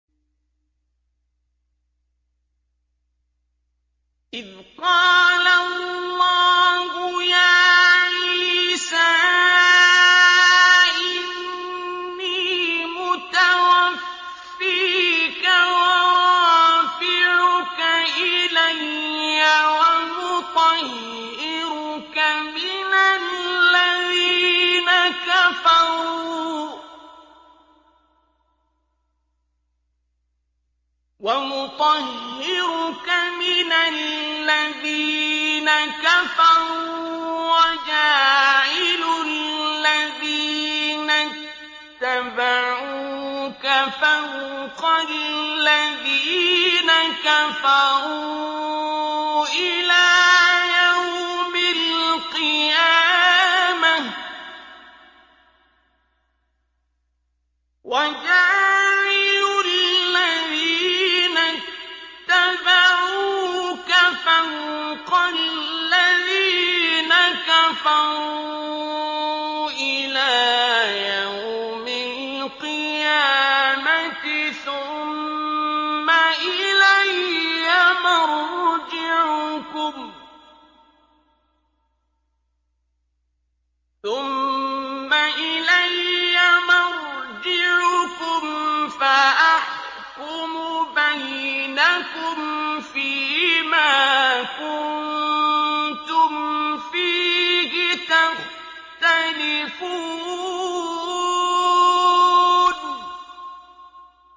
إِذْ قَالَ اللَّهُ يَا عِيسَىٰ إِنِّي مُتَوَفِّيكَ وَرَافِعُكَ إِلَيَّ وَمُطَهِّرُكَ مِنَ الَّذِينَ كَفَرُوا وَجَاعِلُ الَّذِينَ اتَّبَعُوكَ فَوْقَ الَّذِينَ كَفَرُوا إِلَىٰ يَوْمِ الْقِيَامَةِ ۖ ثُمَّ إِلَيَّ مَرْجِعُكُمْ فَأَحْكُمُ بَيْنَكُمْ فِيمَا كُنتُمْ فِيهِ تَخْتَلِفُونَ